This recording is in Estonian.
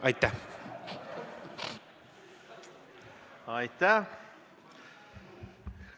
Aitäh!